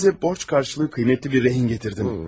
Sizə borc qarşılığı qiymətli bir rehin gətirdim.